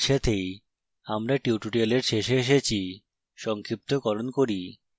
এর সাথেই আমরা tutorial শেষে এসেছি সংক্ষিপ্তকরণ করি